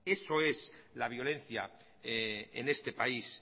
eso es la violencia en este país